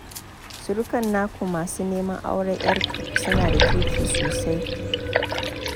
Surukan naku masu neman auren 'yarku suna da kirki sosai